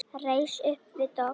Reis upp við dogg.